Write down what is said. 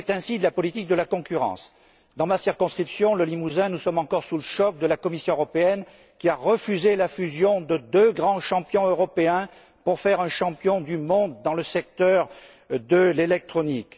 Il en est ainsi de la politique de la concurrence. Dans ma circonscription, le Limousin, nous sommes encore sous le choc provoqué par la Commission européenne, qui a refusé la fusion de deux grands champions européens, qui aurait permis de créer un champion du monde dans le secteur de l'électronique.